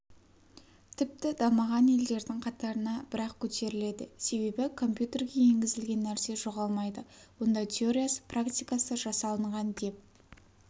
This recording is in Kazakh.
тіпті дамыған елдердің қатарына бірақ көтеріледі себебі компьютерге енгізілген нәрсе жоғалмайды онда теориясы практикасы жасалынған деп